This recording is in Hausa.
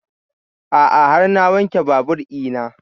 A'a har na wanke babur ina